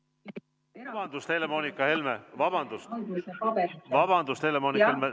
Vabandust, Helle-Moonika Helme!